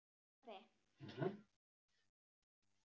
Hvað ætluðum að gera þegar skólinn var búinn?